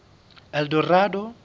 eldorado